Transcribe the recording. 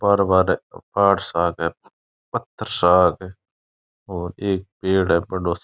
पहाड़ वहाड़ है पहाड़ सा क है पत्थर सा क है और एक पेड़ है बड़ो सारो।